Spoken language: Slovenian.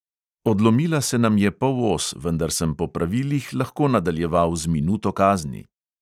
Odlomila se nam je polos, vendar sem po pravilih lahko nadaljeval z minuto kazni.